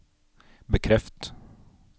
bekreft